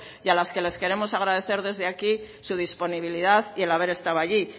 y a las que les queremos agradecer desde aquí su disponibilidad y el haber estado allí